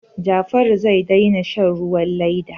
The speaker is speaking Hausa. Jafaru zai daina shan ruwan leda.